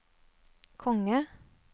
konge